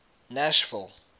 nashville